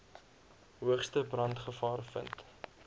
hoogste brandgevaar vind